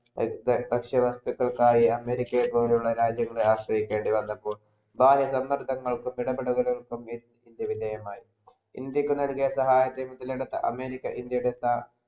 ഭക്ഷ്യവസ്തുക്കൾക്ക് ആയ അമേരിക്ക പോലെയുള്ള രാജ്യങ്ങൾ ആശ്രയിക്കേണ്ടി വന്നപ്പോൾ സമ്മർദ്ദങ്ങൾക്കും ഇടപെടലുകൾക്കും ഇന്ത്യ വിദേയമായി ഇന്ത്യക്കു നൽകിയ സഹായത്തിന് അമേരിക്ക